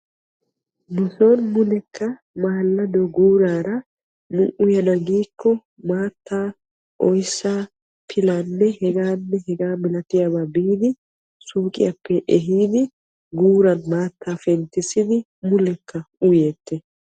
nu son mulekka maallado guuraara nu uyana giikko maattaa oyissa pilaanne hegaanne hegaa malatiyaabaa biidi suuqiyappe ehiidi maattaa penttissidi mulekka uyeettes.